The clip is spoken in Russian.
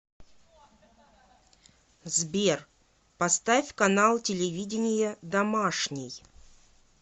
сбер поставь канал телевидения домашний